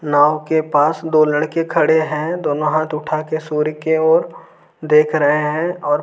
नाव के पास दो लड़के खड़े हैं दोनों हाथ उठाके सूर्य के ओर देख रहे हैं और --